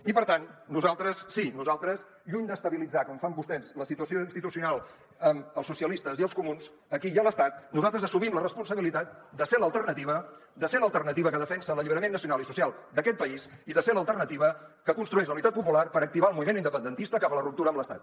i per tant nosaltres sí nosaltres lluny d’estabilitzar com fan vostès la situació institucional amb els socialistes i els comuns aquí i a l’estat assumim la responsabilitat de ser l’alternativa de ser l’alternativa que defensa l’alliberament nacional i social d’aquest país i de ser l’alternativa que construeix la unitat popular per activar el moviment independentista cap a la ruptura amb l’estat